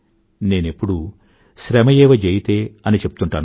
నేనెప్పుడూ శ్రమయేవ జయతే అని చెప్తూంటాను